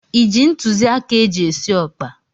Iji ntụziaka eji esi ọkpa?